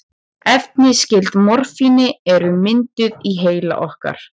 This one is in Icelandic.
Efni skyld morfíni eru mynduð í heila okkar.